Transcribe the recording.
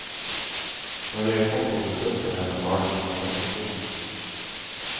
Når jeg kom på besøk til henne, var det som å møte solen.